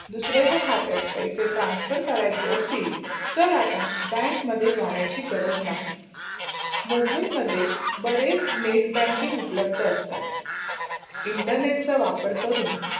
दुसराचा खतात पैसे transfer करायचे असतील तर आता bank मध्ये जाण्याची गरज् नही. मोबाईल मध्ये बरेच net banking उपलब्ध असतात. internet चा वापर करून